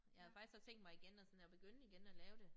Jeg havde faktisk også tænkt mig igen at sådan at begynde igen at lave det